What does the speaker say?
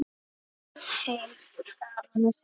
Heill skal honum senda.